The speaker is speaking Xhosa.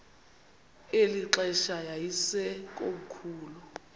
eli xesha yayisekomkhulu